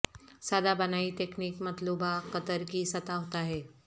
سادہ بنائی تکنیک مطلوبہ قطر کی سطح ہوتا ہے